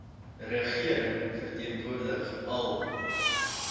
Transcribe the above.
regering verteenwoordig al